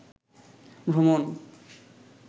ভ্রমণ